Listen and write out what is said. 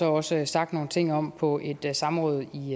også sagt nogle ting om på et samråd i